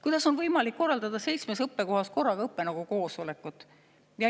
Kuidas on võimalik korraldada seitsmes õppekohas korraga õppenõukogu koosolekut?